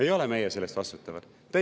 Ei ole meie selle eest vastutavad!